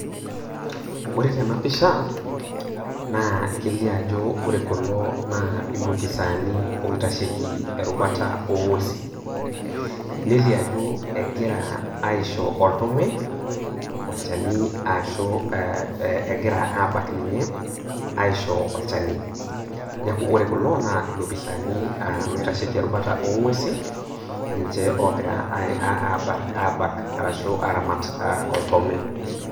Ore tena pisha naa kelio ajo ore kulo naa ilopisaani oitasheki erubata oonguesin. Nelio ajo egira aisho oltome olchani ashuu egira aabak ninye aisho olchani. Neaku ore kulo naa ilopisaani oitasheki erubata oonguesin ninche oogira aabak arashuu aaramat oltome.